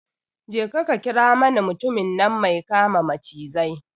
Je ka ka kira mani mutumin nan mai kama macizai